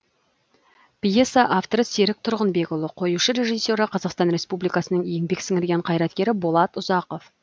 пьеса авторы серік тұрғынбекұлы қоюшы режиссері қазақстан республикасының еңбек сіңірген қайраткері болат ұзақов